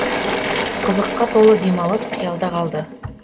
қызыққа толы демалыс қиялда қалды